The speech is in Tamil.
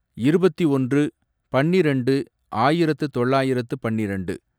இருபத்தி ஒன்று, பன்னிரெண்டு, ஆயிரத்து தொள்ளாயிரத்து பன்னிரெண்டு